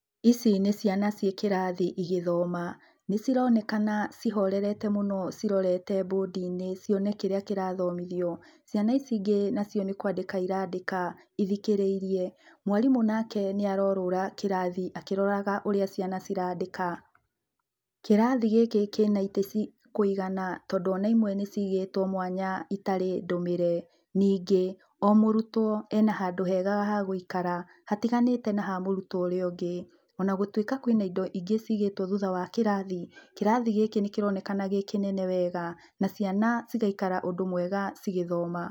Ici nĩ ciana ciĩ kĩrathi igĩthoma nĩ cironekana cihorerete mũno cirorete bũndi-inĩ cione kĩrĩa kĩrathomithio, ciana ici ingĩ nĩ kwandĩka irandĩka ithikĩrĩirie, mwarimũ nake nĩ arorũra kĩrathi akĩroraga ũrĩa ciana cirandĩka, kĩrathi gĩkĩ kĩna itĩ cia kũigana tondũ ona imwe nĩ cigĩtwo mwanya itarĩ ndũmĩre, ningĩ o mũrutwo ena handũ hega ha gũikara hatiganĩte na ha mũrutwo ũrĩa ũngĩ ona gũtuĩka kwĩna na indo ingĩ cigĩtwo thutha wa kĩrathi, kĩrathi gĩkĩ nĩkĩronekana gĩ kĩnene wega na ciana cigaikara ũndũ mwega cigĩthoma.